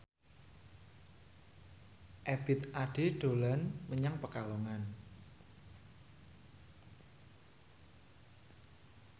Ebith Ade dolan menyang Pekalongan